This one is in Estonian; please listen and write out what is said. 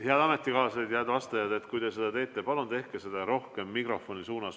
Head ametikaaslased, kui te oma küsimust küsite, siis palun tehke seda rohkem mikrofoni suunas.